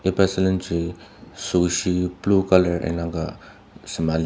iba sülenji süoshi blue colour indang ka sema lir.